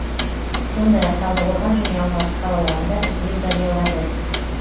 сондай ақ талдықорған және алматы қалаларында іздеу жариялады